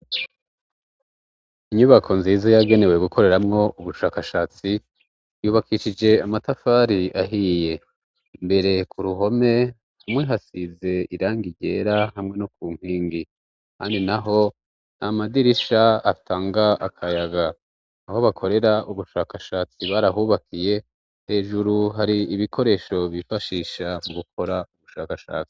Inyubako nziza yagenewe gukoreramwo ubushakashatsi yubakishije amatafari ahiye mbere ku ruhome rumwe hasize iranga ryera hamwe no ku nkingi ahandi naho n'amadirisha atanga akayaga aho bakorera ubushakashatsi barahubakiye hejuru hari ibikoresho bifashisha mu gukora ubushakashatsi.